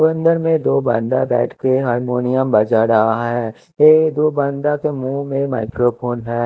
अंदर में दो बंदा बैठ के हारमोनियम बजा रहा है ये दो बंदा के मुँह में माइक्रोफोन है।